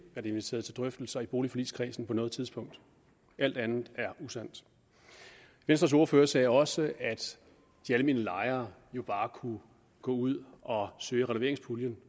inviteret til drøftelser i boligforligskredsen på noget tidspunkt alt andet er usandt venstres ordfører sagde også at de almene lejere jo bare kunne gå ud og søge fra renoveringspuljen